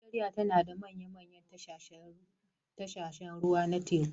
Najeriya tana da manyan tashoshin jiragen ruwa da yawa a kan doguwar gabar tekunta.